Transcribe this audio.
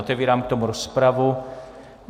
Otevírám k tomu rozpravu.